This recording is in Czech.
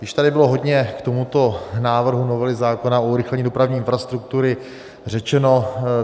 Již tady bylo hodně k tomuto návrhu novely zákona o urychlení dopravní infrastruktury řečeno.